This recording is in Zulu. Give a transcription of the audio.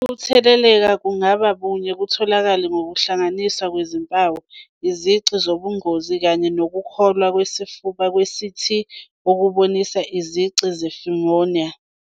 Ukutheleleka kungabuye kutholakale ngokuhlanganiswa kwezimpawu, izici zobungozi kanye nokuhlolwa kwesifuba kwe- CT okubonisa izici ze-pneumonia.